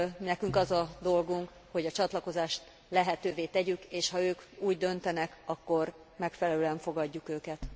Nekünk az a dolgunk, hogy a csatlakozást lehetővé tegyük, és ha ők úgy döntenek, akkor megfelelően fogadjuk őket.